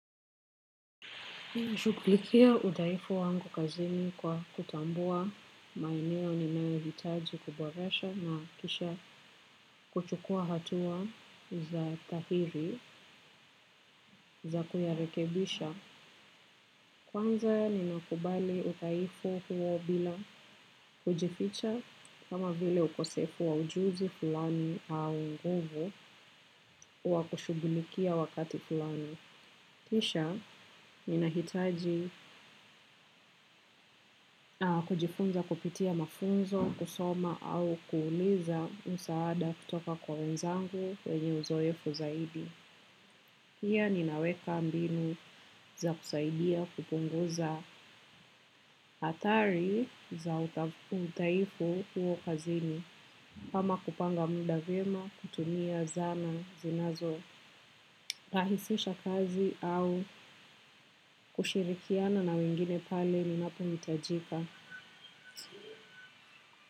Shughulikia udhaifu wangu kazini kwa kutambua maeneo ninayo hitaji kuboresha na kisha kuchukuwa hatua za tahiri za kuyarekebisha. Kwanza ni nakubali udhaifu huo bila kujificha kama vile ukosefu wa ujuzi fulani au nguvu wa kushughulikia wakati fulani. Kisha, ninahitaji kujifunza kupitia mafunzo, kusoma au kuuliza msaada kutoka kwa wenzangu wenye uzoefu zaidi. Pia ninaweka mbinu za kusaidia kupunguza athari za udhaifu huo kazini. Kama kupanga muda vyema, kutumia zana, zinazo rahisisha kazi au kushirikiana na wengine pale ninapohitajika.